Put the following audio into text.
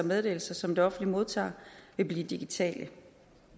meddelelser som det offentlige modtager vil blive digitale